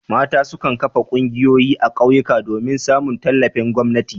Mata su kan kafa ƙungiyoyi a ƙauyuka domin samun tallafin gwamnati.